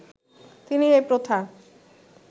তিনি এই প্রথা